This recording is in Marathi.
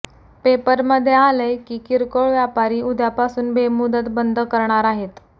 पेपरमधे आलय की किर्कोळ व्यापारी उद्यापासून बेमुदत बंद करणार आहेत